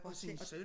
Og sin søn